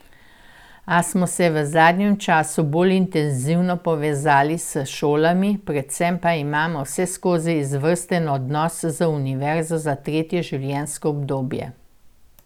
A smo se v zadnjem času bolj intenzivno povezali s šolami, predvsem pa imamo vseskozi izvrsten odnos z Univerzo za tretje življenjsko obdobje.